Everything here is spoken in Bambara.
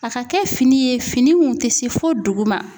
A ka kɛ fini ye fini mun te se fo dugu ma.